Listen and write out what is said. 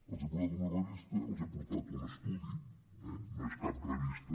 els he portat una revista els he portat un estudi eh no és cap revista